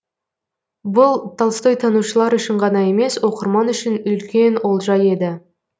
бұл толстойтанушылар үшін ғана емес оқырман үшін үлкен олжа еді